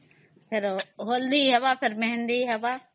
ହଳଦୀ ହେବ ପୁଣି ମେହେନ୍ଦି ହବ